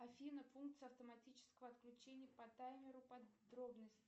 афина функция автоматического отключения по таймеру подробности